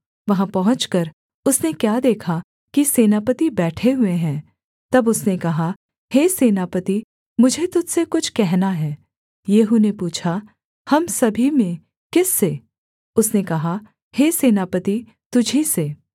वहाँ पहुँचकर उसने क्या देखा कि सेनापति बैठे हुए हैं तब उसने कहा हे सेनापति मुझे तुझ से कुछ कहना है येहू ने पूछा हम सभी में किस से उसने कहा हे सेनापति तुझी से